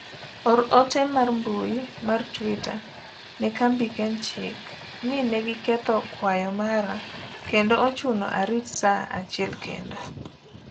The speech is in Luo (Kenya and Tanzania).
or ote mar mbui mar twita ne kambi kenchik ni ne giketho kwayo mara kendo ochuna arit saa achiel kendo